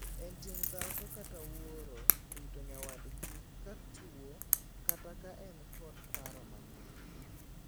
En ting' dhako kata wuoro rito nyawadgi ka tuo kata ka en kod paro manok.